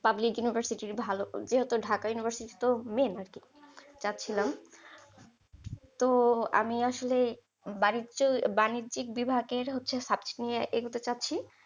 Public university র ভালো যেহেতু ঢাকা university তো main আরকি চাচ্ছিলাম। তো আমি আসলে বাণিজ্য বাণিজ্যিক বিভাগের হচ্ছে subject নিয়ে এগোতে চাচ্ছি?